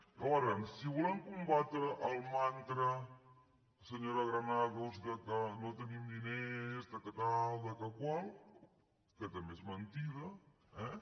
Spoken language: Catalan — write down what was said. llavors si volem combatre el mantra senyora granados que no tenim diners que si això que si això altre que també és mentida eh